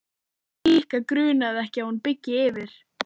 Nikka grunaði ekki að hún byggi yfir.